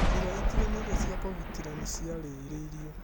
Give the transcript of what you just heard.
Njĩra itiganĩte cia kũgitĩra nĩciarĩirwo